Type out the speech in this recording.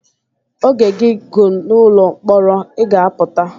Oge gị gụ n’ụlọ mkpọrọ, ị ga-apụta